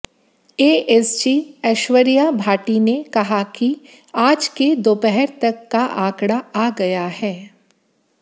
ASG Aishwarya Bhati ने कहा कि आज के दोपहर तक आंकड़ा आ गया है